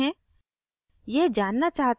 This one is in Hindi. अब नीचे जाते हैं